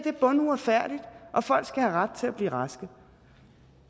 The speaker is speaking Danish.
er bunduretfærdigt og folk skal have ret til at blive raske